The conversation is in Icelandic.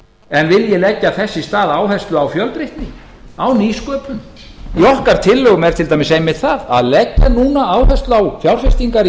en vilji leggja þess í stað áherslu á fjölbreytni á nýsköpun í okkar tillögum er til dæmis einmitt það að leggja núna áherslu á fjárfestingar í